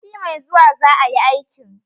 Sati mai zuwa za a yi aikin